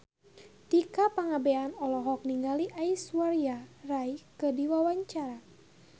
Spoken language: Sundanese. Tika Pangabean olohok ningali Aishwarya Rai keur diwawancara